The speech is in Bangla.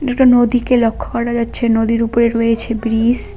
এটা একটা নদীকে লক্ষ্য করা যাচ্ছে নদীর উপরে রয়েছে ব্রীজ ।